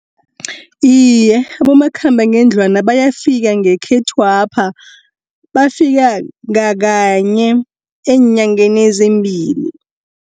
Iye, abomakhambangendlwana bayafika ngekhethwapha, bafika ngakanye eenyangeni ezimbili.